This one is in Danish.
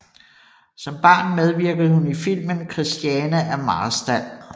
Som barn medvirkede hun i filmen Kristiane af Marstal